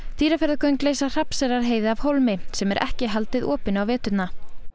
Dýrafjarðargöng leysa Hrafnseyrarheiði af hólmi sem er ekki haldið opinni á veturna